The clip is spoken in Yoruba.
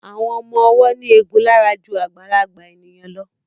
Àwọn ọmọ ọwọ́ ní egun lára ju àgbàlagbà ènìyàn lọ